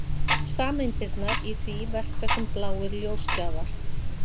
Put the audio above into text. Sameindirnar í því verka sem bláir ljósgjafar.